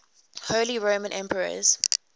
holy roman emperors